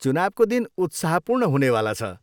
चुनावको दिन उत्साहपूर्ण हुनेवाला छ।